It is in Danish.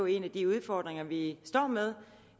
en af de udfordringer vi står med